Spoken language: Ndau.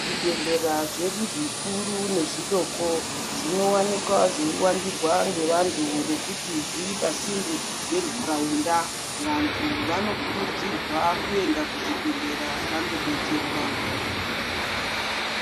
Zvibhedhlera zvedu zvikuru nezvidoko zvinowanikwa zveiwandirwa ngevantu ngekuti zviri pasinde ngentaraunda. Vantu vanokurudzirwa kuenda kuzvibhedhlera vandobetserwa.